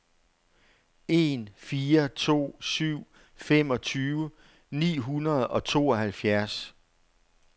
en fire to syv femogtyve ni hundrede og tooghalvfjerds